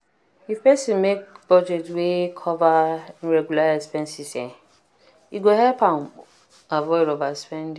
if person make budget wey cover irregular expenses e go help am avoid overspending.